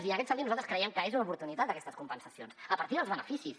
i en aquest sentit nosaltres creiem que són una oportunitat aquestes compensacions a partir dels beneficis